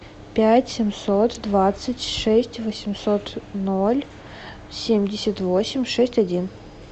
пять семьсот двадцать шесть восемьсот ноль семьдесят восемь шесть один